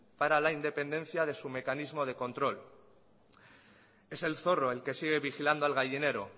para la independencia de su mecanismo de control es el zorro el que sigue vigilando al gallinero